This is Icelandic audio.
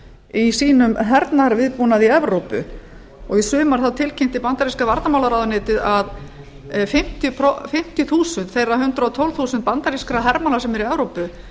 í sínum hernaðarviðbúnaði í evrópu í sumar tilkynnti bandaríska varnarmálaráðuneytið að fimmtíu þúsund þeirra hundrað og tólf þúsund bandarískra hermanna sem eru í evrópu